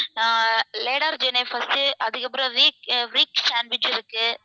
அஹ் ladder சொன்னேன் first உ அதுக்கப்பறம் sandwich இருக்கு